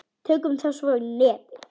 Tökum þá svo í nefið!